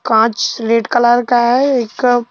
कांच red colour का है एक--